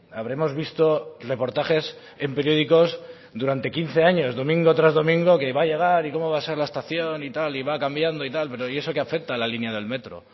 habremos visto reportajes en periódicos durante quince años domingo tras domingo que va a llegar y cómo va a ser la estación y tal y va cambiando y tal pero y eso qué afecta a la línea del metro